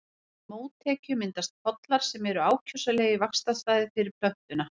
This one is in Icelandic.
Við mótekju myndast pollar sem eru ákjósanlegir vaxtarstaðir fyrir plöntuna.